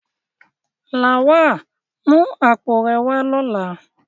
Lawal, mu apo re wa lola!